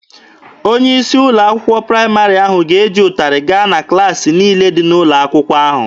Onye isi ụlọ akwụkwọ praịmarị ahụ ga-eji ụtarị gaa na klaasị niile dị n'ụlọ akwụkwọ ahụ.